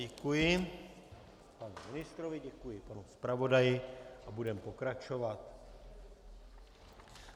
Děkuji panu ministrovi, děkuji panu zpravodaji a budeme pokračovat.